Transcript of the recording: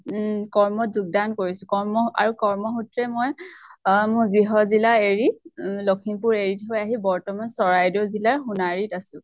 উম কৰ্ম ত যোগ্দান কৰিছো । কৰ্ম আৰু কৰ্ম সুত্ৰে মই আ মোৰ গৃহ জিলা এৰি, উম লক্ষীমপুৰ এৰি থৈ আহি বৰ্তমান চৰাইদেউ জিলাৰ সোণাৰী ত আছো ।